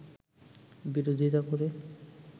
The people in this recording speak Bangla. বিরোধীতা করে